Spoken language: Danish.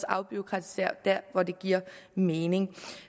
afbureaukratisere der hvor det giver mening